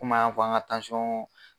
Komi an y'a fɔ an ŋa